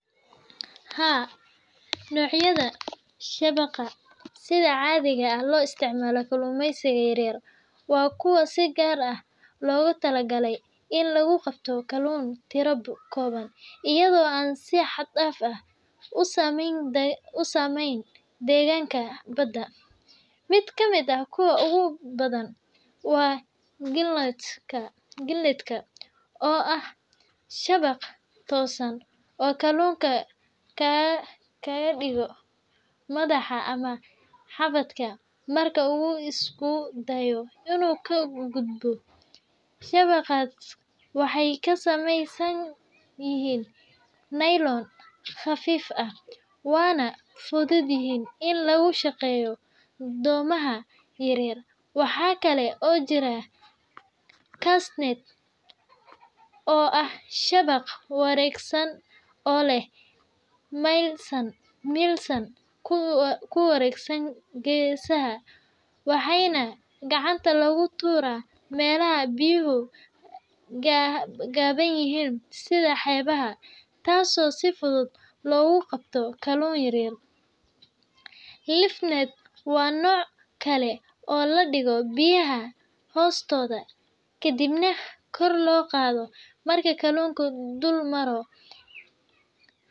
Haa nocyada shabaqa sida caadiga loo isticmaalo kalumeysiga yaryar waa kuwa si gaar ah loogu tala galay in lagu qabto kaluun tira kooban, iyado si xad daaf ah usameyn deeganka Bada, mid kamid ah kuwa ugu badan waa galineska oo ah shabaq toosan oo kaluunka kaaga digo madaxa ama xabadka marka uu isku dayo inuu ka gudbo, shabaqa waxeey ka sameeysan yihiin lylon qafiif ah weeyna fudeed yihiin, in lagu shaqeeyo doomaha yaryar, waxaa kale oo jiraa kassnet oo ah shabaq wareegsan oo leh meel ku wareegsan geesaha waxaana gacanta lagu tuura meelaha biyaha gaaban yihiin, sida xeebaha taas oo si fudud loogu qabto kaluunka yaryar lifnet waa nooc kale oo ladigo biyaha kor loo qaado marka kaluunka dul Maro.